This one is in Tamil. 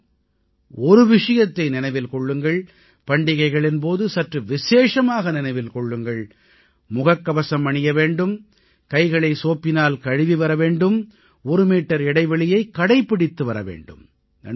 ஆனால் ஒரு விஷயத்தை நினைவில் கொள்ளுங்கள் பண்டிகைகளின் போது சற்று விசேஷமாக நினைவில் கொள்ளுங்கள் முகக்கவசம் அணிய வேண்டும் கைகளை சோப்பினால் கழுவி வர வேண்டும் ஒரு மீட்டர் இடைவெளியைக் கடைப்பிடித்துவர வேண்டும்